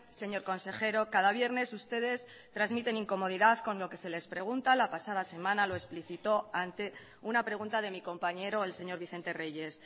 señor consejero cada viernes ustedes transmiten incomodidad con lo que se les pregunta la pasada semana lo explicitó ante una pregunta de mi compañero el señor vicente reyes